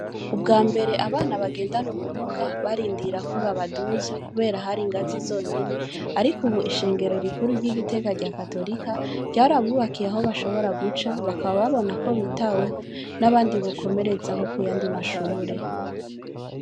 Ubwa mbere abana bagendana ubumuga, barindira ko babaduza kubera hari ingazi zonyene, ariko ubu ishengero rikuru ry'i Gitega rya Katorika, ryarabubakiye aho bashobora guca, bakaba babona ko bitaweho, n'abandi bokomerezaho ku yandi mashure.